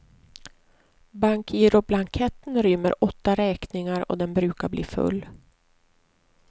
Bankgiroblanketten rymmer åtta räkningar och den brukar bli full.